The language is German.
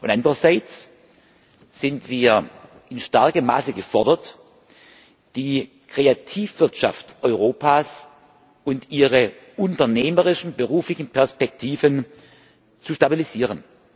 Andererseits sind wir in starkem Maße gefordert, die Kreativwirtschaft Europas und ihre unternehmerischen beruflichen Perspektiven zu stabilisieren.